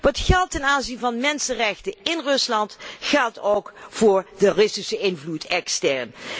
Wat geldt ten aanzien van mensenrechten in Rusland geldt ook voor de Russische invloed extern.